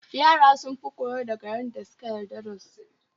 Yara sun fi koyo daga Wanda da suka yarda da su